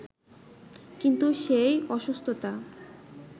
কিন্তু সেই অসুস্থতা